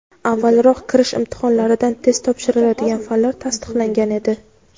avvalroq kirish imtihonlarida test topshiriladigan fanlar tasdiqlangan edi.